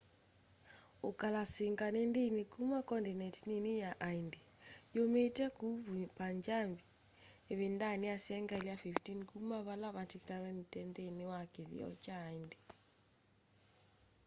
ukalasinga ni ndini kuma condineti nini ya aindi yumite kuu punjab ivindani ya sengyali ya 15 kuma vala matilikanile nthini wa kithio kya hindu